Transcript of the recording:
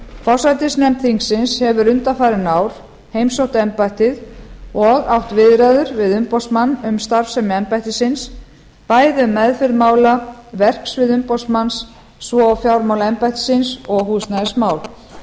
forsætisnefnd þingsins hefur undanfarin ár heimsótt embættið og átt viðræður við umboðsmann um starfsemi embættisins bæði um meðferð mála verksvið umboðsmanns svo og fjármál embættisins og húsnæðismál